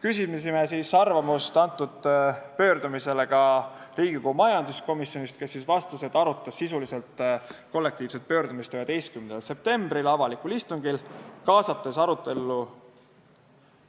Küsisime pöördumise kohta arvamust Riigikogu majanduskomisjonist, kes vastas, et nad arutasid kollektiivset pöördumist sisuliselt 11. septembril avalikul istungil, kaasates arutellu